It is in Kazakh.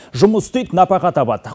жұмыс істейді нәпақа табады